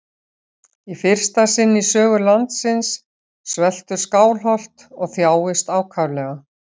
Í fyrsta sinn í sögu landsins sveltur Skálholt og þjáist ákaflega.